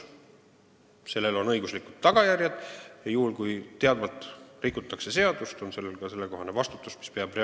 Sellel on õiguslikud tagajärjed ja kui teadvalt rikutakse seadust, siis tuleb selle eest vastutada.